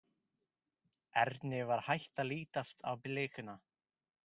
Erni var hætt að lítast á blikuna.